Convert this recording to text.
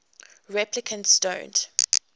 replicants don't